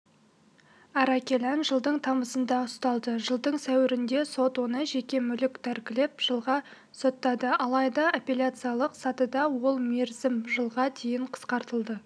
аракелян жылдың тамызында ұсталды жылдың сәуірінде сот оны жеке мүлкін тәркілеп жылға соттады алайда апелляциялық сатыда ол мерзім жылға дейін қысқартылды